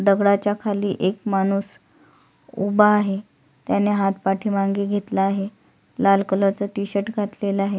दगडाच्या खाली एक माणूस उभा आहे त्याने हात पाठीमागे घेतला आहे लाल कलर चा टि-शर्ट घातलेला आहे.